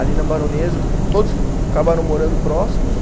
Ali na Baronesa, todos acabaram morando próximos.